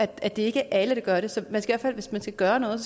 det er ikke alle der gør det så man skal i hvert fald hvis man skal gøre noget